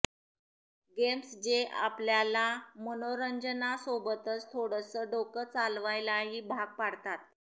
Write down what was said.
games जे आपल्याला मनोरंजनासोबतच थोडसं डोकं चालवायलाही भाग पाडतात